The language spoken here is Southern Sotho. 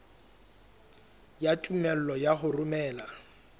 ya tumello ya ho romela